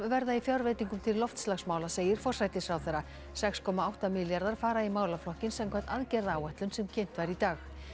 verða í fjárveitingum til loftslagsmála segir forsætisráðherra sex komma átta milljarðar fara í málaflokkinn samkvæmt aðgerðaáætlun sem kynnt var í dag